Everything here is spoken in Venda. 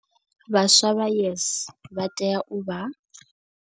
Vhaswa vha YES vha tea u vha.